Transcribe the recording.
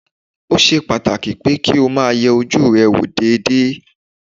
Ó ṣe pàtàkì pé kó o máa yẹ ojú rẹ wò déédéé